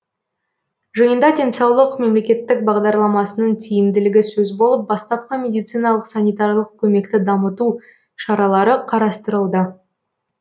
жиында денсаулық мемлекеттік бағдарламасының тиімділігі сөз болып бастапқы медициналық санитарлық көмекті дамыту шаралары қарастырылды